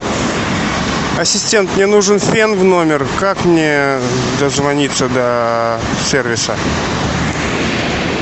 ассистент мне нужен фен в номер как мне дозвониться до сервиса